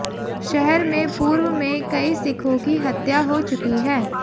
शहर में पूर्व में कई सिखों की हत्या हो चुकी है